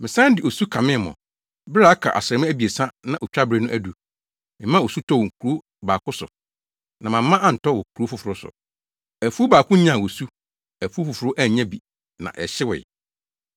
“Mesan de osu kamee mo, bere a aka asram abiɛsa na otwabere no adu. Memaa osu tɔɔ wɔ kurow baako so na mamma antɔ wɔ kurow foforo so. Afuw baako nyaa osu afuw foforo annya bi na hyewee.